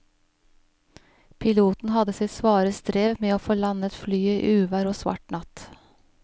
Piloten hadde sitt svare strev med å få landet flyet i uvær og svart natt.